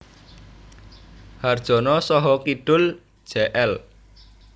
Harjono saha kidul Jl